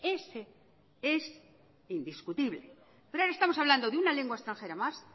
ese es indiscutible pero ahora estamos hablando de una lengua extranjera más